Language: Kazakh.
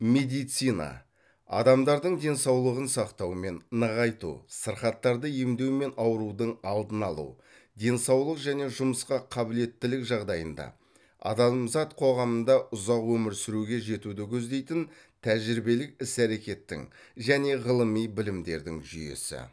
медицина адамдардың денсаулығын сақтау мен нығайту сырқаттарды емдеу мен аурудың алдын алу денсаулық және жұмысқа қабілеттілік жағдайында адамзат қоғамында ұзақ өмір сүруге жетуді көздейтін тәжірибелік іс әрекеттің және ғылыми білімдердің жүйесі